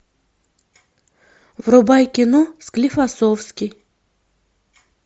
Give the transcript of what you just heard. врубай кино склифосовский